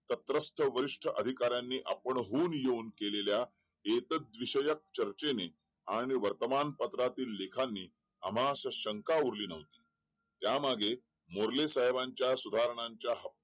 तंत्रस्त अधिकाऱ्यांनी आपणहून केलेल्या एकच विषयक चर्चेने आणि वर्तमान पात्रातील लेखानी आम्हास शंख उरली नव्हती त्या मागे मोर्ली साहेबांच्या सुधारणांच्या